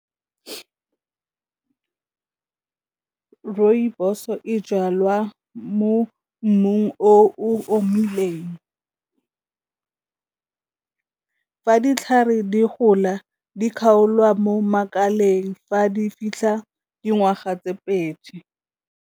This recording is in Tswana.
Rooibos-o e jalwa mo mmung o omileng, ditlhare di gola di kgaolwa mo makaleng fa di fitlha dingwaga tse pedi.